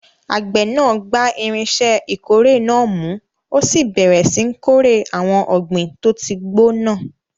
Àgbẹ̀ náà gba irinṣẹ́ ìkórè náà mú, ó sì bẹ̀rẹ̀ síi kórè àwọn ọ̀gbìn tó ti gbó náà.